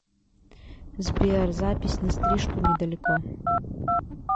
сбер запись на стрижку недалеко